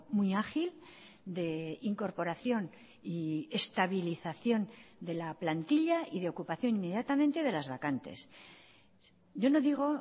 muy ágil de incorporación y estabilización de la plantilla y de ocupación inmediatamente de las vacantes yo no digo